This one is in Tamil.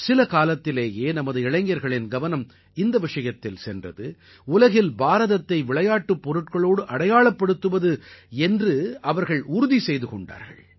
சில காலத்திலேயே நமது இளைஞர்களின் கவனம் இந்த விஷயத்தில் சென்றது உலகில் பாரதத்தை விளையாட்டுப் பொருட்களோடு அடையாளப்படுத்துவது என்று அவர்கள் உறுதி செய்து கொண்டார்கள்